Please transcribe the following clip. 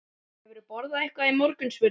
Hefurðu borðað eitthvað í morgun? spurði ég.